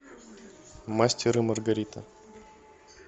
мастер и маргарита